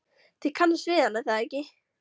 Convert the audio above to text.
Þið kannist við hann, er það ekki?